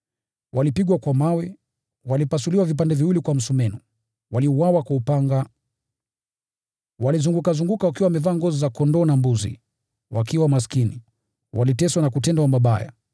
Walipigwa kwa mawe; walipasuliwa vipande viwili kwa msumeno; waliuawa kwa upanga. Walizungukazunguka wakiwa wamevaa ngozi za kondoo na mbuzi, wakiwa maskini, wakiteswa na kutendwa mabaya,